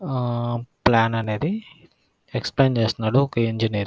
ఆహ్ ఆహ్ ప్లాన్ అనేది ఎక్స్ప్లెయిన్ చేస్తున్నాడు ఒక ఇంజినీర్ కి --